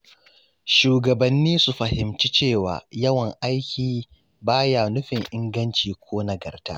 Shugabanni su fahimci cewa yawan aiki ba ya nufin inganci ko nagarta.